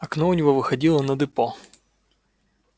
окно у него выходило на депо